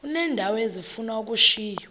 uneendawo ezifuna ukushiywa